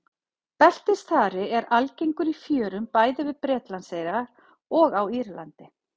Beltisþari er algengur í fjörum bæði við Bretlandseyjar og á Írlandi.